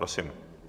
Prosím.